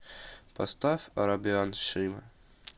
поставь арабиан шима